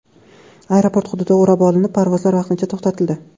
Aeroport hududi o‘rab olinib, parvozlar vaqtincha to‘xtatildi.